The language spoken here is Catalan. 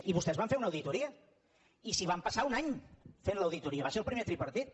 i vos·tès van fer una auditoria i s’hi van passar un any fent l’auditoria va ser el primer tripartit